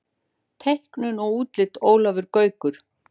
Teiknun og útlit Ólafur Gaukur.